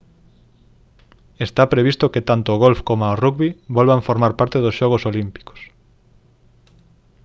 está previsto que tanto o golf coma o rugby volvan formar parte dos xogos olímpicos